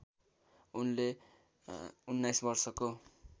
उनले १९ वर्षको